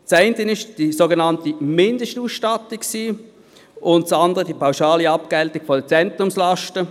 Das eine war die sogenannte Mindestausstattung und das andere die pauschale Abgeltung der Zentrumslasten.